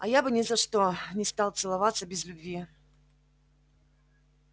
а я бы ни за что не стала целоваться без любви